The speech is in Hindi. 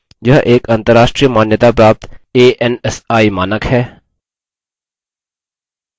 यह एक अंतर्राष्ट्रीय मान्यताप्राप्त ansi मानक है